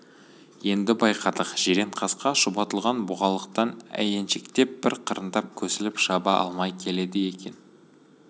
енді байқадық жиренқасқа шұбатылған бұғалықтан әйеншектеп бір қырындап көсіліп шаба алмай келеді екен